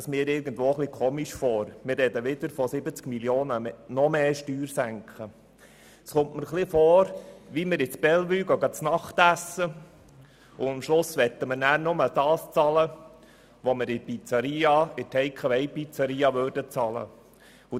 Das erscheint mir, als wenn wir ins Bellevue zu Abend essen gingen, und am Schluss möchten wir dann nur das bezahlen, was wir für die Take-away-Pizzeria bezahlen würden.